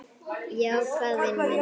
Já, hvað vinur minn?